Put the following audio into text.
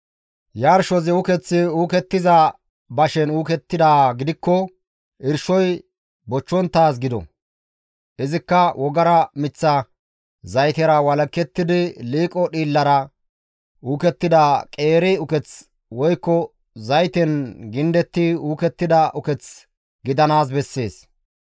«Yarshozi ukeththi uukettiza bashen uukettidaa gidikkoka irshoy bochchonttaaz gido; izikka wogara miththa zaytera walakettidi liiqo dhiillera uukettida qeeri uketh woykko zayten gindetti uukettida uketh gidanaas bessees.